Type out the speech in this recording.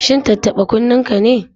Shi tattaɓa-kunnenka ne?